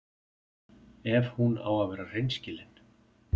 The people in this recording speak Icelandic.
Ef hún á að vera hreinskilin.